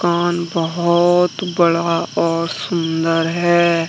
दुकान बहुत बड़ा और सुंदर है।